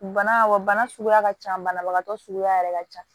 Bana wa bana suguya ka ca banabagatɔ suguya yɛrɛ ka ca